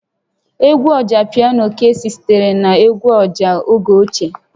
Egwu Ọjapiano Kcee sitere na egwu ọjà oge ochie